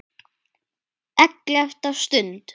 ELLEFTA STUND